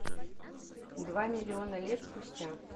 два миллиона лет спустя